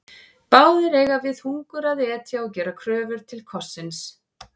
Báðir eiga við hungur að etja og gera kröfu til kossins.